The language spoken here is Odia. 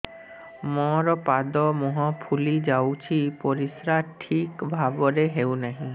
ମୋର ପାଦ ମୁହଁ ଫୁଲି ଯାଉଛି ପରିସ୍ରା ଠିକ୍ ଭାବରେ ହେଉନାହିଁ